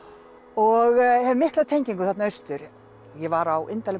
og hef mikla tengingu þarna austur ég var á